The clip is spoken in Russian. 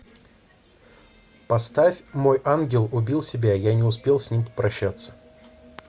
поставь мой ангел убил себя я не успел с ним попрощаться